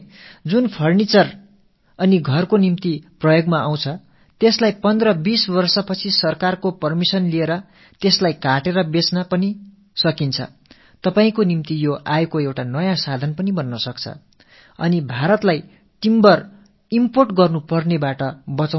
நாம் நமது வயல்களோரமாகவே இப்படிப்பட்ட மரங்களை நட்டால் அவை மரச்சாமான்கள் செய்ய உதவியாகவும் இருக்கும் 1015 ஆண்டுகளுக்குப் பிறகு அரசின் அனுமதி பெற்று அவற்றை வெட்டி நாம் விற்றுக் காசாக்கவும் முடியும் இது உங்களின் வருமானத்தைப் பெருக்கிக் கொள்ளும் ஒரு வழிவகையாக அமையும் பாரதத்தின் மர இறக்குமதிச் செலவும் குறையும்